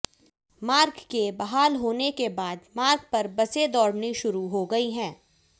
मार्ग के बहाल होने के बाद मार्ग पर बसें दौड़नी शुरू हो गई हैं